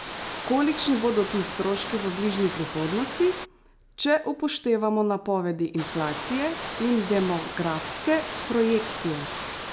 Kolikšni bodo ti stroški v bližnji prihodnosti, če upoštevamo napovedi inflacije in demografske projekcije?